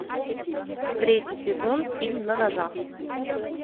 третий сезон фильм на ножах